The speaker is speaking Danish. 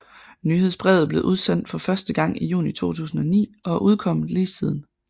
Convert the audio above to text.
Nyhedsbrevet blev udsendt første gang i juni 2009 og er udkommet lige siden